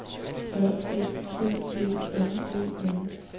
A F T E N E N